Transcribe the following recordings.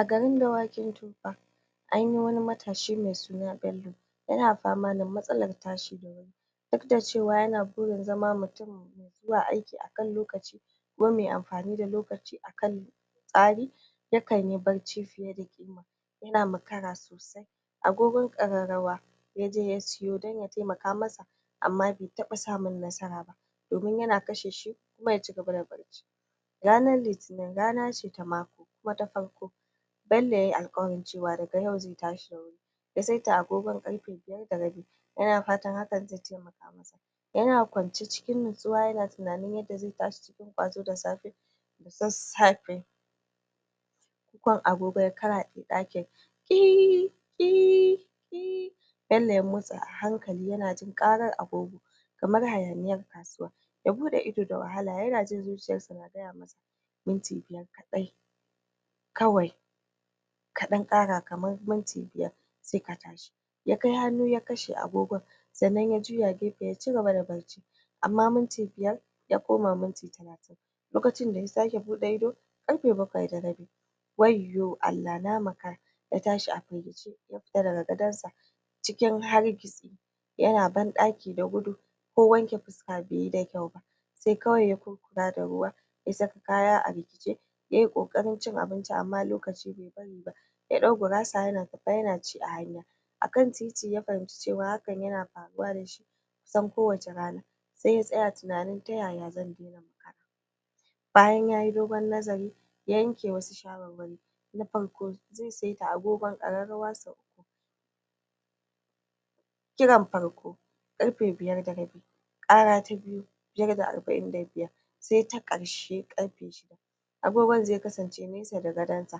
Agarin dawakin tofa anyi wani matashi mai suna Ballo yana fama da matsalar tashi da wurii duk da cewa yana burin zama mutun mai zuwa ayki akan lokaci baya amfaninda lokaci akan tsari yakanyi barci fiye da kima yana mara sosai agogon kararrawa ya je ya suwo dan ya temaka masa bai taba samun nasara ba domin yana kasheshi kuma ya cigaba da barci ranan litinin rana ce ta mako kuma ta farko Bllo yayi alkawarin cewa daga yau zai tashi da wuri ya saita agogon karfe biyar da rabi [5;30am] yana fatan hakan zai temaka masa yana kwance cikin natsuwa yana tinanin yadda zai tashi cikink kwazo da safe da sassafe kukan agogo ya karade dakin kiiiiiii kiiiiiii kiiiiiiii kiiiiiiii kiiii nan ne ya mots a hankali yana jin karan a googon a hankali kamar hayaniyar kasuwa ya buda ido da wahala yana jin zuciyarsa na gaya masa minti biyar kadai kawai kadan kara kamar minti biyar sai ka tashi ya kai hannu ya kashe agogon sannan ya juya daya gefan ya cigaba da barci amma minti biyar [5] ya koma minti talatin [30] lokacin da ya sake bude ido karfe bakwai da rabi [7;30] wayyo Allah na makara ya tashi a firgice ya sauka daga gadonsa cikin hargitsi ya shiga bandaki da gudu ko wanke fiska baiyi da kyauba sai kawai ya kuskura ruwa ya saka kaya a riki ce ya yi kokarin cin abinci amma lokaci bai bariba ya dau gurasa yana tafe yana ci a hanya akan titi ya fahimci hakan na faruwa da shi kusan kowace rana sai ya tsaya tinanin ta yaya zan daina makara bayan yayi dogon nazari ya yanke wasu sawarwari na farko zai saita agogon kararrawansa a kiran farko karfe biyar da rabi kara ta biyu [2] biyar da arba'in da biyar [5;45am] sai ta karshe karfe shida [6;00am] sai ta karshe karfe shida [6;00am] agogon zai kasance nesa da gadan sa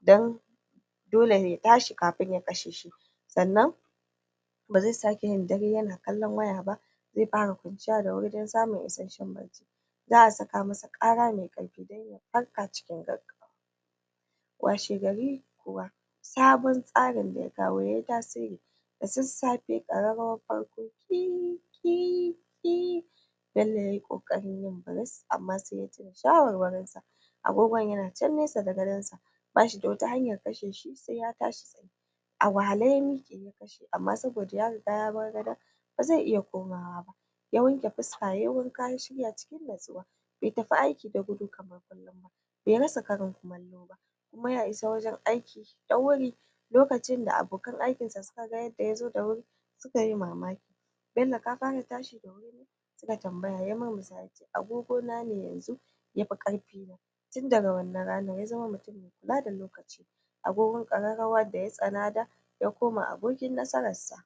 dan dole ya tashi kafin ya kasheshi sannan ba zai sake yin dare yana kallon waya ba zai fara kwanciya da wuri dan samun isasshen barci za a sakamasa kara mai karfi dan ya farka a kan lokaci wase gari kuwa sabon tsarin da ya kawo ye tasiri da sassafe kararrawar farko kirrrrr kirrrrrr kirrrrr Ballo ya yi kokarin yin burus amma sai ya tuna sawarwarinsa agogon yana can nesa da gadansa ba shi da wata hanyar kasheshi sai ya tashi wahale ya mike amma saboda ya riga ya bar gadon ba zai iya komawa ba ya wanke fiska ya yi wanka ya shirya cikin natsuwa bai tafi ayki a makare kar kullun ba bai rasa karin kumallo ba kuma ya isa wurin ayki da wuri lokacin da abokan aykinsa suka ga yadda ya zo da wuri su kayi mamaki su ce Ballo ka fara tashi da wuri ne ya murmusa ya ce agogona ne yanzu yafi karfi na tun daga wannan rana ya zama mutun mara bata lokaci agogon kararrawa da ya tsana da ya zama abokinsa